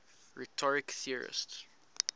rhetoric theorists